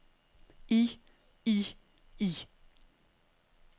i i i